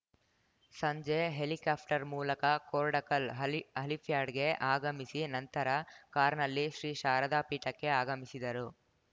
ಸಂಜೆ ಹೆಲಿಕ್ಯಾಪ್ಟರ್‌ ಮೂಲಕ ಕೊರ್ಡಕಲ್‌ ಹೆಲಿಪ್ಯಾಡ್‌ಗೆ ಆಗಮಿಸಿ ನಂತರ ಕಾರ್‌ನಲ್ಲಿ ಶ್ರೀ ಶಾರದಾ ಪೀಠಕ್ಕೆ ಆಗಮಿಸಿದರು